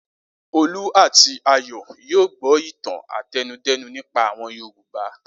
Olú àti Ayọ̀ yóò gbọ́ ìtàn àtẹnudẹ́nu nípa àwọn Yorùbá.